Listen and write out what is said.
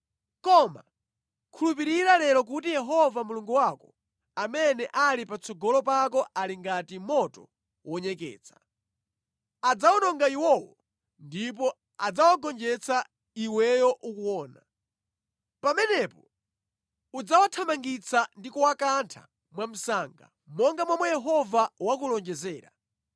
Koma khulupirira lero kuti Yehova Mulungu wako amene ali patsogolo pako ali ngati moto wonyeketsa. Adzawononga iwowo ndipo adzawagonjetsa iweyo ukuona. Pamenepo udzawathamangitsa ndi kuwakantha mwamsanga, monga momwe Yehova wakulonjezera.